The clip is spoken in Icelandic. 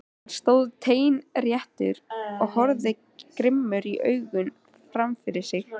Hann stóð teinréttur og horfði grimmum augum fram fyrir sig.